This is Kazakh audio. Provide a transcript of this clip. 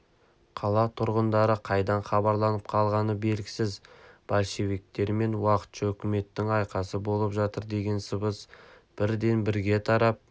қала тұрғындары қайдан хабарланып қалғаны белгісіз большевиктер мен уақытша үкіметтің айқасы болып жатыр деген сыбыс бірден бірге тарап